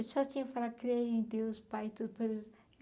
Eu só tinha falado creio em Deus, Pai, todo poderoso.